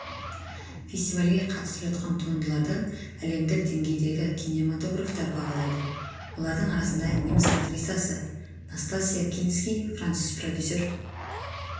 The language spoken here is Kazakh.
фестивальге қатысып жатқан туындыларды әлемдік деңгейдегі кинематографтар бағалайды олардың арасында неміс актрисасы настасья кински француз продюсер